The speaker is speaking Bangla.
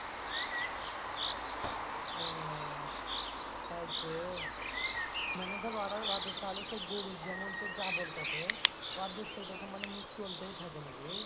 তাই তো মানে ধর ওরা ওদের তাহলে সে গরুর যেমন তোর জাবর কাটে ওদের সেরকম মানে মুখ চলতেই থাকে নাকি?